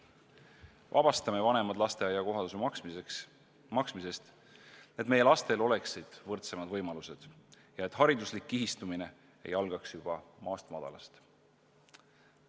Vabastame vanemad lasteaia kohatasu maksmisest, et meie lastel oleksid võrdsemad võimalused ja et hariduslik kihistumine ei algaks juba maast madalast!